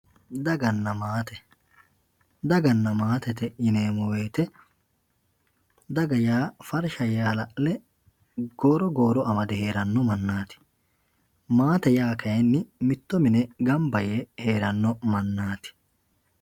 Daganna maate, daganna maate yineemmo woyte daga yaa farsha yee hala'le goro goro amade heerano mannati maate yaa kayinni mitto mine gamba yee heerano mannati.